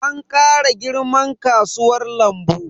An kara girman kasuwan lambu.